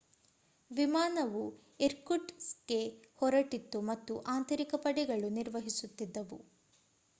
ವಿಮಾನವು ಇರ್ಕುಟ್‌ಸ್ಕ್‌ಗೆ ಹೊರಟಿತ್ತು ಮತ್ತು ಆಂತರಿಕ ಪಡೆಗಳು ನಿರ್ವಹಿಸುತ್ತಿದ್ದವು